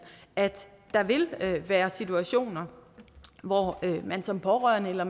at der vil være situationer hvor man som pårørende eller